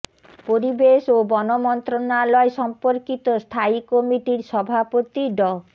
পরিবেশ ও বন মন্ত্রণালয় সম্পর্কিত স্থায়ী কমিটির সভাপতি ড